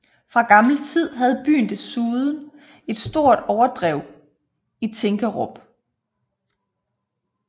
Fra gammel tid havde byen desuden et stort overdrev i Tinkerup